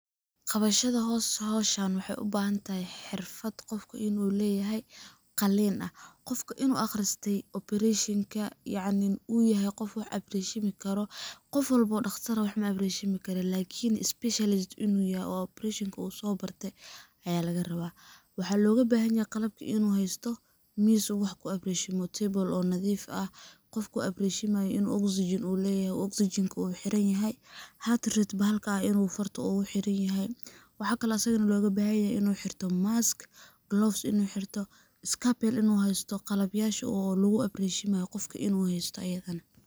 Qabashada howshan waxay ubahantahay xirfad qofka inu leyahay qalin ah qofka inu aqriste operashenka yacni u yahay qof wax abreshimi karo, qof walbo oo dhaqtar ah wax ma abreshimi karo lakin specialist inu yoho oo abreshinka uu soo barte aya laga rabaa ,waxay loga bahan yahay qalabka inu haysto mis uu wax ku abreshimo table nadiif ah, qolku wax ku abreshimay waa inu oxygen leyaho, oksijenka uu xiran yahay, hate rate bahalka inu farta ogu xiran yahay, waxakale oo asagana loga bahan yahay inu xirto mask, gloves inu xirto, scapel inu haysto qalab yasha logu abreshimay waa qofka inu haysto ayadana